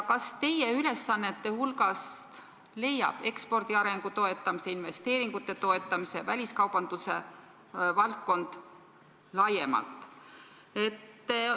Kas teie ülesannete hulgast leiab ekspordi arengu toetamise, investeeringute toetamise, väliskaubanduse valdkonna laiemalt?